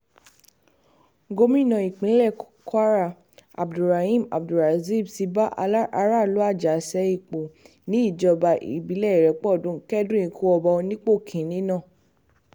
gomina ìpínlẹ̀ kwara abdulrahim abdulrazib ti bá aráàlú àjàṣe-ipò níjọba ìbílẹ̀ ìrépọdùn kẹ́dùn ikú ọba onípò kìn-ín-ní náà